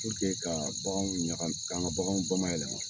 ka baganw ɲag k'an ka bagan bamayɛlɛma.